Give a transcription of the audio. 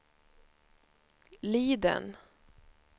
Liden